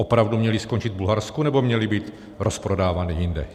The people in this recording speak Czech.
Opravdu měly skončit v Bulharsku, nebo měly být rozprodávány jinde?